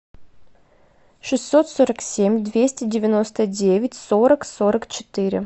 шестьсот сорок семь двести девяносто девять сорок сорок четыре